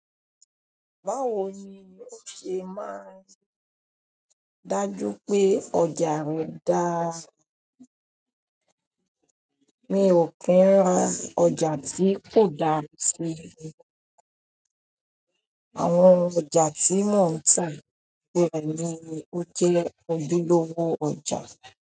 Báwo ni o ṣe máa ń dájú pé ọjà rẹ dáa? Mi o kin ra ọjà tio dára si orí ìgbà. Àwọn ọjà tí mò ń tà rẹ̀ ni ó jẹ́ ojúlówó ọjà.